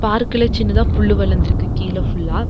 பார்க்ல சின்னதா புல்லு வளர்ந்திருக்கு கீழ ஃபுல்லா .